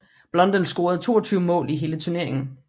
Blondell scorede 22 mål i hele turneringen